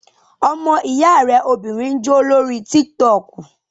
Ọmọ ìyá rẹ obìnrin ń jó lórí tík-tọkù